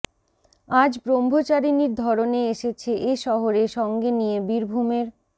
আজ ব্রহ্মচারিণীর ধরনে এসেছে এ শহরে সঙ্গে নিয়ে বীরভূমের